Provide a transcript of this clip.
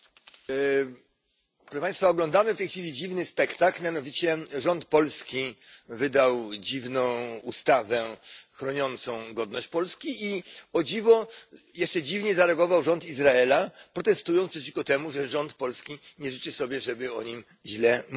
Pani Przewodnicząca! Oglądamy w tej chwili dziwny spektakl, mianowicie rząd polski wydał dziwną ustawę chroniącą godność Polski, i o dziwo, jeszcze dziwniej zareagował rząd Izraela, protestując przeciwko temu, że rząd polski nie życzy sobie, żeby o nim źle mówić.